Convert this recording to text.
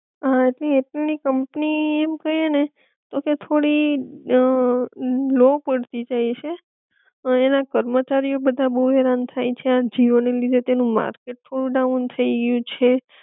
હા હજી એરટેલ ની કંપની એમ કઈ એ ને તો કે થોડી અ લો પડતી જાય છે, પણ એના કર્મચારી ઑ બધા બોવ હેરાન થાઈ છે આ જીઓ ના લીધે તેનું માર્કેટ થોડું ડાઉન થઈ ગયું છે